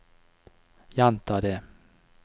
gjenta det